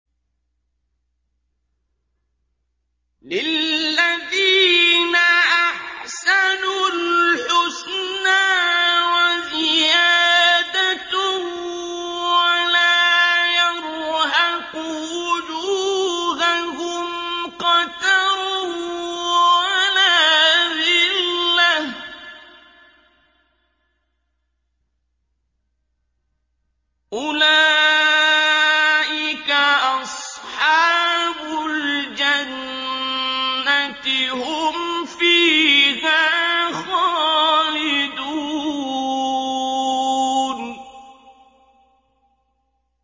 ۞ لِّلَّذِينَ أَحْسَنُوا الْحُسْنَىٰ وَزِيَادَةٌ ۖ وَلَا يَرْهَقُ وُجُوهَهُمْ قَتَرٌ وَلَا ذِلَّةٌ ۚ أُولَٰئِكَ أَصْحَابُ الْجَنَّةِ ۖ هُمْ فِيهَا خَالِدُونَ